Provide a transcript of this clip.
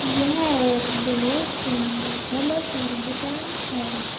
यह एक बहुत सुंदर फलों की दुकान है।